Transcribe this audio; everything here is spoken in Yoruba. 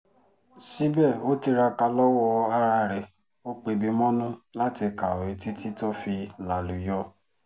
sibe o tiraka lowo ara re o pebi monu lati kawe titi to fi laluyo